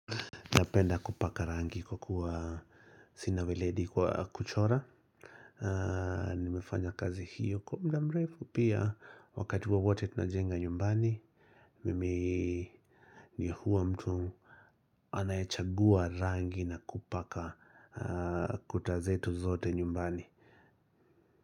Napenda kupaka rangi kwa kuwa sina weledi kwa kuchora Nimefanya kazi hiyo kwa mdamrefu pia wakati wowote tunajenga nyumbani Mimi ni huwa mtu anayechagua rangi na kupaka kutazetu zote nyumbani.